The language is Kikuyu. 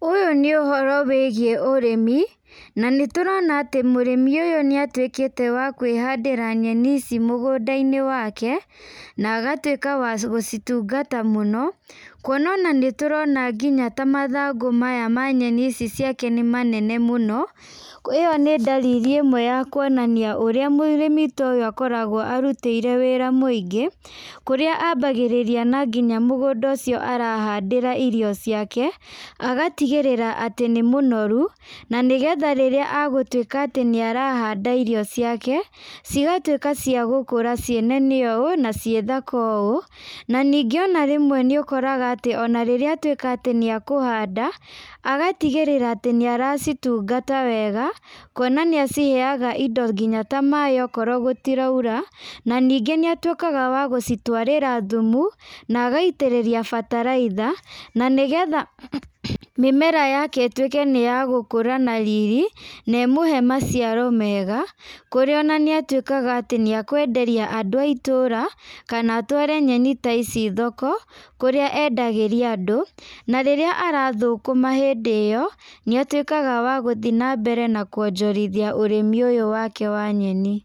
Ũyũ nĩ ũhoro wĩgiĩ ũrĩmi, na nĩ tũrona atĩ mũrĩmi ũyũ , nĩ atwĩkĩte wa kwĩhandĩra nyeni ici mũgũnda-inĩ wake, na agatwĩka wa gũcitungata mũno, kuona atĩ ta mathagũ maya ma nyeni ici nĩ manene mũno, ĩyo nĩ ndariri ĩmwe ya ũrĩa kwonania atĩ mũrĩmi ũyũ akoragwo arutĩire mawĩra maingĩ, kũrĩa abagĩrĩria nginya mũgũnda ũcio arahandĩra irio ciake, agatigĩrĩra atĩ nĩ mũnoru , na agatwĩka atĩ nĩ arahanda irio ciake cigatwĩka cia gũkũra ciĩ nene ũũ na ci thaka ũũ, na ningĩ nĩ ũkoraga ona rĩrĩa atwĩka atĩ nĩ akũhanda, agatigĩrĩra atĩ nĩ ara citugata wega, kuona nĩ aciheaga indo ta maaĩ okorwo gũtiraura, na ningĩ nĩ atwĩkaga wa kũcitwarĩra thumu, na agaitĩrĩria bataraitha, na nĩgetha mĩmera yake ĩtwĩke nĩ ya gũkura na rĩrĩ na ĩmũhe maciaro mega, kũrĩa ona nĩ atwĩkaga nĩ akwenderia andũ a itũra , kana atware nyeni ta ici thoko kũrĩa endagĩria andũ, na rĩrĩa arathũkũma hĩndĩ ĩyo nĩ atwĩkaga wa gũthiĩ na mbere na kwonjorithia ũrĩmi ũyũ wake wa nyeni.